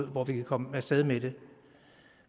hvor vi kan komme af sted med det